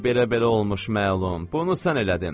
Ay belə-belə olmuş məlum, bunu sən elədin.